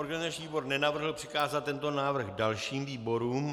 Organizační výbor nenavrhl přikázat tento návrh dalším výborům.